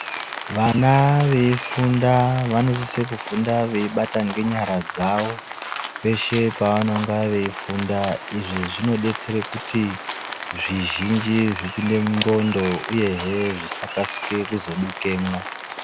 Vana veifunda vanosise kufunda veibata ngenyara dzawo peshe pevanonga veifunda izvi zvinodetsera kuti zvizhinji zvipinde munxlondo uyehe zvisakasike kuzodukemwo.